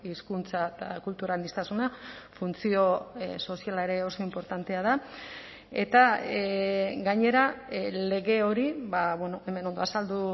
hizkuntza eta kultura aniztasuna funtzio soziala ere oso inportantea da eta gainera lege hori hemen ondo azaldu